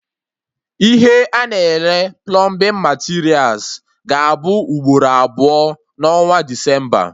Ihe a na-ere plọmbin materials ga-abụ ugboro abụọ na onwa Desemba